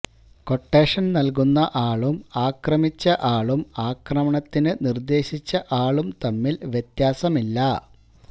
quotation നൽകുന്ന ആളും ആക്രമിച്ച ആളും ആക്രമണത്തിന് നിർദ്ദേശിച്ച ആളും തമ്മിൽ വ്യത്യാസമില്ല